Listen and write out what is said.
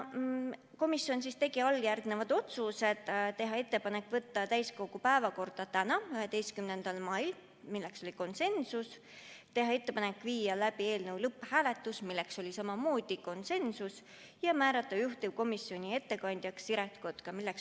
Komisjon tegi alljärgnevad otsused: teha ettepanek võtta eelnõu täiskogu päevakorda tänaseks, 11. maiks , teha ettepanek viia läbi eelnõu lõpphääletus ja määrata juhtivkomisjoni ettekandjaks Siret Kotka .